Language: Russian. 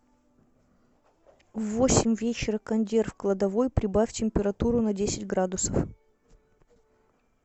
в восемь вечера кондер в кладовой прибавь температуру на десять градусов